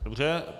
Dobře.